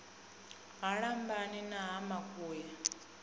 ha lambani na ha makuya